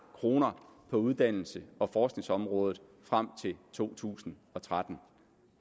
kroner på uddannelses og forskningsområdet frem til to tusind og tretten